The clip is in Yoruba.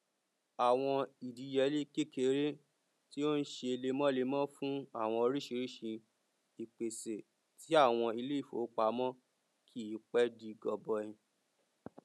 àwọn ìdíyelé kékèké tí ó n ṣe lemọlemọ fún àwọn oríṣiríṣi ìpèsè ti àwọn ilé ìfowópamọ kìí pẹ di gọbọi